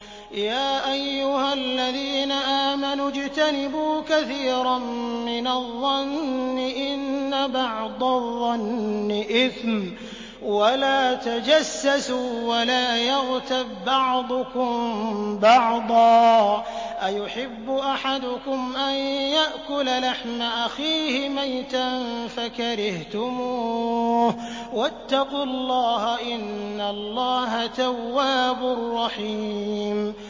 يَا أَيُّهَا الَّذِينَ آمَنُوا اجْتَنِبُوا كَثِيرًا مِّنَ الظَّنِّ إِنَّ بَعْضَ الظَّنِّ إِثْمٌ ۖ وَلَا تَجَسَّسُوا وَلَا يَغْتَب بَّعْضُكُم بَعْضًا ۚ أَيُحِبُّ أَحَدُكُمْ أَن يَأْكُلَ لَحْمَ أَخِيهِ مَيْتًا فَكَرِهْتُمُوهُ ۚ وَاتَّقُوا اللَّهَ ۚ إِنَّ اللَّهَ تَوَّابٌ رَّحِيمٌ